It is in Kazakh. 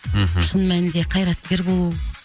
мхм шын мәнінде қайраткер болу